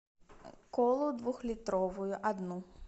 колу двухлитровую одну